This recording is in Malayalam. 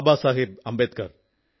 ബാബാസാഹബ് അംബേദ്കർ